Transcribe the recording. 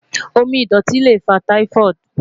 Omi idọti le fa Typhoid